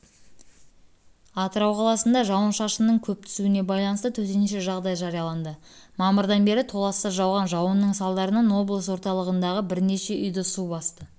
атырау қаласында жауын-шашынның көп түсуіне байланысты төтенше жағдай жарияланды мамырдан бері толассыз жауған жауынның салдарынан облыс орталығындағы бірнеше үйді су басты